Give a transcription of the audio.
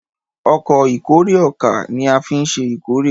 Ọkọ̀ ìkórè ọkà ní afin ṣe ìkórè.